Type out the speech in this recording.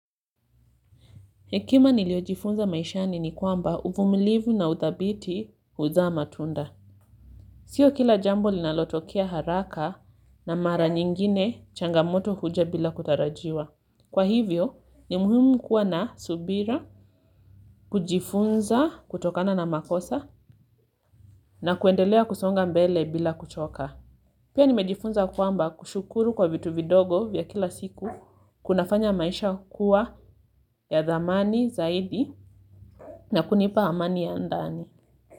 Hekima niliojifunza maishani ni kwamba uvumilivu na uthabiti huzaa matunda. Sio kila jambo linalotokea haraka na mara nyingine changamoto huja bila kutarajiwa. Kwa hivyo, ni muhimu kuwa na subira kujifunza kutokana na makosa na kuendelea kusonga mbele bila kuchoka. Pia nimejifunza kwamba kushukuru kwa vitu vidogo vya kila siku kuna fanya maisha kuwa ya thamani zaidi na kunipa amani ya ndani.